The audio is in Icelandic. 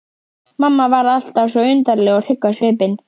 Mamma varð alltaf svo undarleg og hrygg á svipinn.